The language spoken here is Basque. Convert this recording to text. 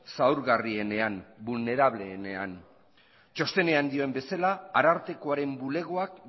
zaurgarrienean txostenak dioen bezala arartekoaren bulegoak